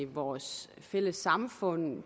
vores fælles samfund